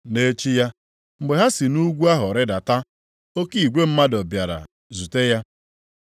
Nʼechi ya, mgbe ha si nʼugwu ahụ rịdata, oke igwe mmadụ bịara zute ya.